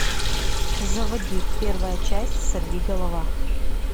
заводи первая часть сорвиголова